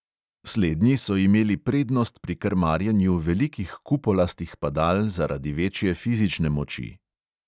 Slednji so imeli prednost pri krmarjenju velikih kupolastih padal zaradi večje fizične moči.